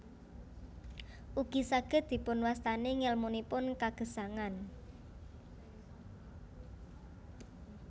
Ugi saged dipunwastani ngèlmunipun kagesangan